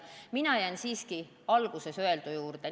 Mina jään siiski alguses öeldu juurde.